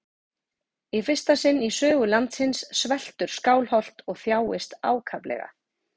Í fyrsta sinn í sögu landsins sveltur Skálholt og þjáist ákaflega.